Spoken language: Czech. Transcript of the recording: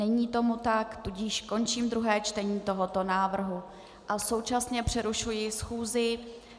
Není tomu tak, tudíž končím druhé čtení tohoto návrhu a současně přerušuji schůzi.